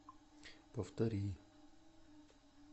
повтори